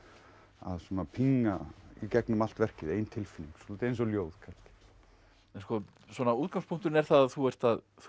að pinga í gegnum allt verkið ein tilfinning svolítið eins og ljóð kannski en svona útgangspunkturinn er að þú ert að þú